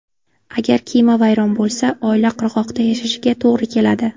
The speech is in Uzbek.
Agar kema vayron bo‘lsa, oila qirg‘oqda yashashiga to‘g‘ri keladi.